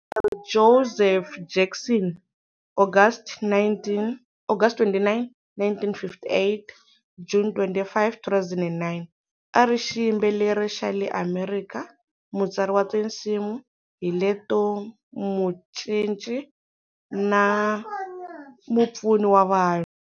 Joseph Jackson August 29, 1958-June 25, 2009, ari xiyimbeleri xa le Amerika, mutsari wa tinsimu, hilete mucinci, na mupfuni wa vanhu.